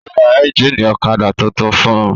Ó ra ẹ́ńjínì ọ̀kadà tuntun fún un.